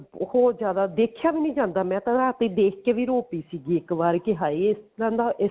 ਬਹੁਤ ਜਿਆਦਾ ਦੇਖਿਆ ਵੀ ਨੀ ਜਾਂਦਾ ਮੈਂ ਤਾਂ ਰਾਤੀ ਦੇਖ ਕਿ ਵੀ ਰੋ ਪੀ ਸੀਗੀ ਇੱਕ ਵਾਰ ਕਿ ਹਾਏ ਇਸ ਤਰ੍ਹਾਂ ਦਾ